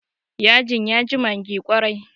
yajin ya ji maggi kwarai